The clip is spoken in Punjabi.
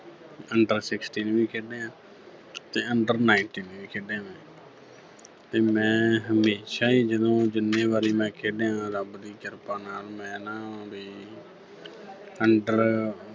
undersixteen ਵੀ ਖੇਡਿਆ ਤੇ under nineteen ਵੀ ਖੇਡਿਆ ਮੈਂ ਤੇ ਮੈਂ ਹਮੇਸ਼ਾ ਹੀ ਜਦੋਂ ਜਿੰਨ੍ਹੇਂ ਵਾਰੀ ਮੈਂ ਖੇਡਿਆ ਰੱਬ ਦੀ ਕ੍ਰਿਪਾ ਨਾਲ ਮੈਂ ਨਾ ਵੀ under